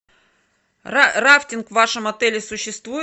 рафтинг в вашем отеле существует